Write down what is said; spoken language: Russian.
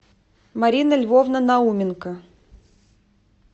марина львовна науменко